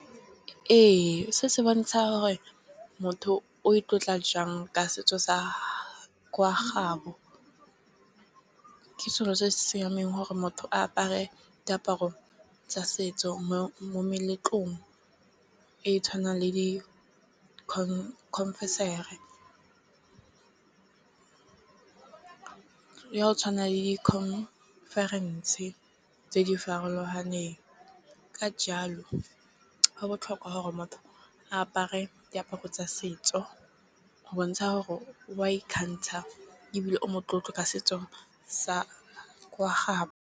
Ee, se se bontsha gore motho o itlotla jang ka setso sa kwa gabo. Ke selo se se siameng gore motho a apare diaparo tsa setso mo meletlong e tshwanang le di , ya go tshwana le di-conference tse di farologaneng ka jalo go botlhokwa gore motho a apare diaparo tsa setso go bontsha gore o a ikgantsha ebile o motlotlo ka setso sa kwa gabo.